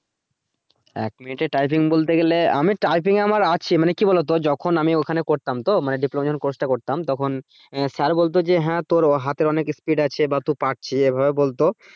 এক মিনিটে typing বলতে গেলে আমি typing আমার আছে মানে কি বলা তো যখন আমি ওখানে করতাম তো মানে diploma যখন course টা করতাম তখন স্যার বলতো যে হ্যা তোর হাতের অনেক speed আছে বা তুই পারছিস এভাবে বলতো।